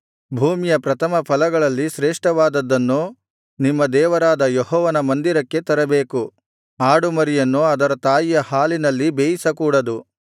ಭೂಮಿಯ ಪ್ರಥಮ ಫಲಗಳಲ್ಲಿ ಶ್ರೇಷ್ಠವಾದುದನ್ನು ನಿಮ್ಮ ದೇವರಾದ ಯೆಹೋವನ ಮಂದಿರಕ್ಕೆ ತರಬೇಕು ಆಡುಮರಿಯನ್ನು ಅದರ ತಾಯಿಯ ಹಾಲಿನಲ್ಲಿ ಬೇಯಿಸಕೂಡದು